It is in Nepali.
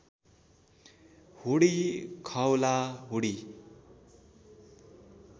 हुडी खओला हुडी